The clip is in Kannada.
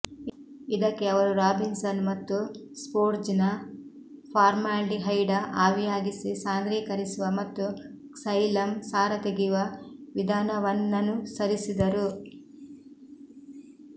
ಇದಕ್ಕೆ ಅವರು ರಾಬಿನ್ಸನ್ ಮತ್ತು ಸ್ಪೋಟ್ಜನ ಫಾರ್ಮಾಲ್ಡಿಹೈಡ ಆವಿಯಾಗಿಸಿ ಸಾಂದ್ರೀಕರಿಸುವ ಮತ್ತು ಕ್ಸೈಲಮ್ ಸಾರ ತೆಗೆಯುವ ವಿಧಾನವನ್ನನುಸರಿಸಿದರು